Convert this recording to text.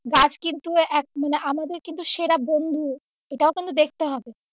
গাছ কিন্তু আমাদের কিন্তু সেরা বন্ধু এটাও কিন্তু দেখতে হবে।